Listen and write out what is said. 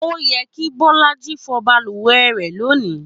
Ó yẹ kí Bọ́lájí fọ balùwẹ̀ rẹ̀ lónìí